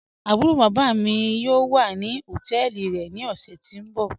Àbúró bábá mí mí yóò wà ní ọtẹ́ẹlí rẹ̀ ní ọ̀ṣẹ̀ tí n bọ̀.